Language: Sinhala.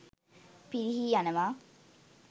පිරිහී යනවා.